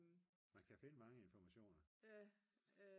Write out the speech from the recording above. man kan finde mange informationer